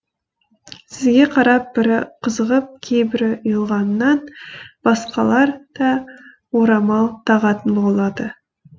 сізге қарап бірі қызығып кейбірі ұялғанынан басқалар да орамал тағатын болады